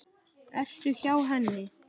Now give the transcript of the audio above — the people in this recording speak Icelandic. Ertu hjá henni?